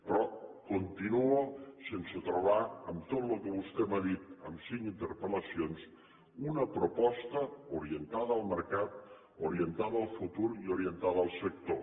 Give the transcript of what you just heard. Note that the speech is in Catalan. però continuo sense trobar en tot el que vostè m’ha dit en cinc interpel·lacions una proposta orientada al mercat orientada al futur i orientada al sector